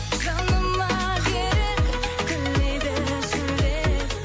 жаныма керек үрлейді шөлдеп